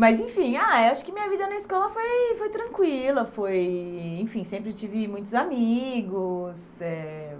Mas enfim, ah acho que minha vida na escola foi foi tranquila, foi enfim sempre tive muitos amigos, eh